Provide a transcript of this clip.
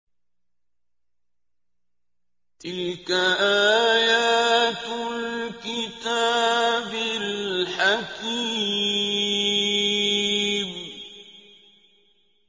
تِلْكَ آيَاتُ الْكِتَابِ الْحَكِيمِ